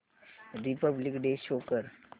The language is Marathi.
रिपब्लिक डे शो कर